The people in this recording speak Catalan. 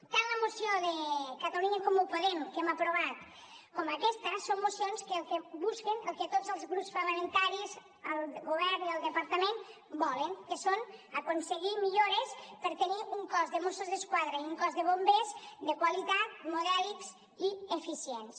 tant la moció de catalunya en comú podem que hem aprovat com aquesta són mocions que el que busquen el que tots els grups parlamentaris el govern i el departament volen que és aconseguir millores per tenir un cos de mossos d’esquadra i un cos de bombers de qualitat modèlics i eficients